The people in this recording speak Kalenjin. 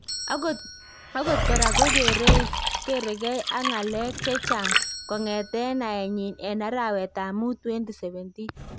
Akot koraa kokerekeey ak ng'aleek chechang kong'eteen naenyin en arawetab muut 2017.